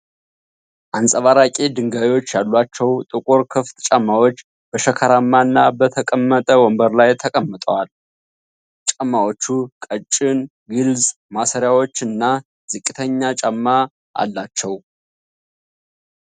አንጸባራቂ ድንጋዮች ያሏቸው ጥቁር ክፍት ጫማዎች በሸካራማ እና በተቀመጠ ወንበር ላይ ተቀምጠዋል። ጫማዎቹ ቀጭን ግልጽ ማሰሪያዎች እና ዝቅተኛ ጫማ አላቸው።